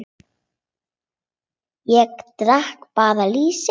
Ég drekk bara lýsi!